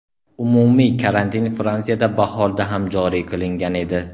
Umumiy karantin Fransiyada bahorda ham joriy qilingan edi.